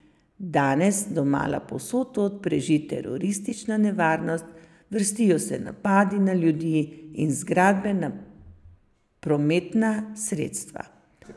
Danes domala povsod tod preži teroristična nevarnost, vrstijo se napadi na ljudi in zgradbe, na prometna sredstva.